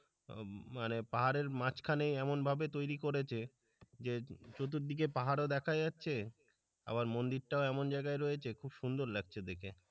মানে পাহাড়ের মাঝখানে এমনভাবে তৈরি করেছে যে চতুর্দিকে পাহাড়ও দেখা যাচ্ছে আবার মন্দিরটাও এমন জায়গায় রয়েছে খুব সুন্দর লাগছে দেখে।